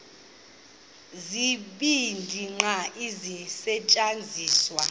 zibini qha ezisasetyenziswayo